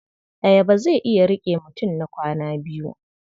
Ayaba zai iya riƙe mutum na kwana biyu.